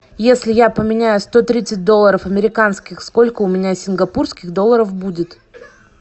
если я поменяю сто тридцать долларов американских сколько у меня сингапурских долларов будет